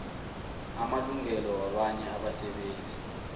amalungelo wabanye abasebenzi